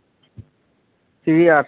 শ্ৰী আঠ